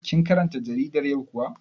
Kin karanta jaridar yau kuwa?